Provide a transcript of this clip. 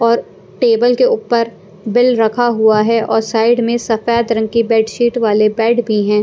और टेबल के ऊपर बिल रखा हुआ है और साइड में सफेद रंग के बेडशीट वाले बेड भी हैं।